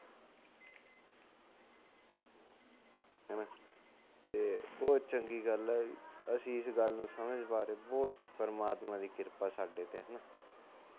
ਹਨਾ ਤੇ ਬਹੁਤ ਚੰਗੀ ਗੱਲ ਐ ਅਸੀ ਇਸ ਗੱਲ ਨੂੰ ਸਮਝ ਪਾ ਰਹੇ ਬਹੁਤ ਪਰਮਾਤਮਾ ਦੀ ਕਿਰਪਾ ਸਾਡੇ ਤੇ